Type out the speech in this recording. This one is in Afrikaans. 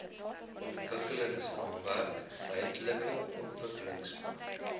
ontwikkelingsraamwerk ruimtelike ontwikkelingsplan